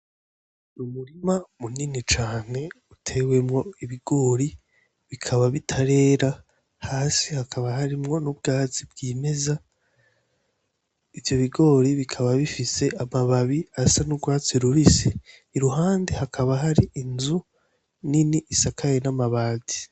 Umurima munini cane utewemwo ibigori bikaba bitarera ,hasi bakaba bariko n'ubwatsi bwimeza ,ivyo bigori bikaba bifise amababi y'urwatsi rubisi ,iruhande hakaba hariho inzu nini isakawe n'amati.